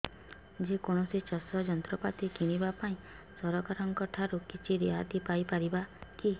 ଯେ କୌଣସି ଚାଷ ଯନ୍ତ୍ରପାତି କିଣିବା ପାଇଁ ସରକାରଙ୍କ ଠାରୁ କିଛି ରିହାତି ପାଇ ପାରିବା କି